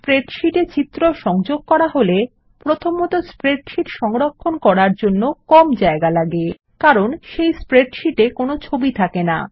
spreadsheet এ সংযোগ করা হলে প্রথমত স্প্রেডশীট সংরক্ষণ করার সময় কম জায়গা লাগে কারণ আমাদের স্প্রেডশীট এ কোনো ছবি থাকে না